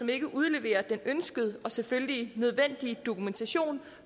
ikke udleverer den ønskede og selvfølgelig nødvendige dokumentation